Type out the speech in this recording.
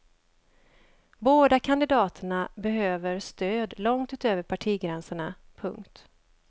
Båda kandidaterna behöver stöd långt utöver partigränserna. punkt